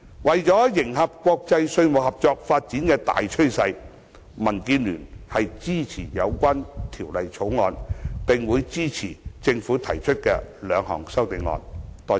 為迎合國際稅務合作發展的大趨勢，民建聯支持《條例草案》，並會支持政府提出的兩項修正案。